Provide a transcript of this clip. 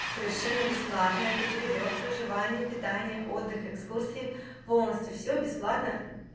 совершенно бесплатно это перелёт проживание питание отдых экскурсии полностью всё бесплатно